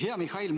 Hea Mihhail!